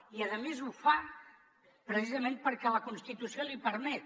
i a més ho fa precisament perquè la constitució l’hi permet